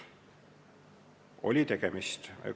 Oli tegemist!